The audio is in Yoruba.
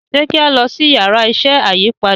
ṣe ki a lọ si Yàrá iṣẹ́ ayípadà?